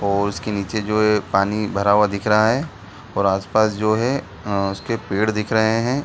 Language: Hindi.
और उसके नीचे जो है पानी भरा हुआ दिख रहा है और आस-पास जो है उसके पेड़ दिख रहे हैं ।